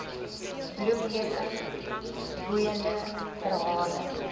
bloemlesing boeiende verhale